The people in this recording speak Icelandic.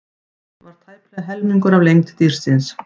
Halinn var tæplega helmingur af lengd dýrsins.